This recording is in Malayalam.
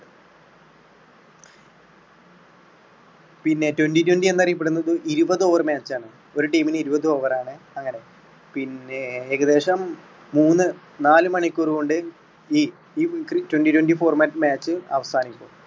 പിന്നെ twenty twenty എന്ന് അറിയപ്പെടുന്നത് ഇരുപത് over match ആണ്. ഒരു team മിന് ഇരുപത് over ആണ് അങ്ങനെ പിന്നെ ഏകദേശം മൂന്ന് നാല് മണിക്കൂറുകൊണ്ട് ഈ ഈ ക്രി~ twenty twenty format match അവസാനിക്കും.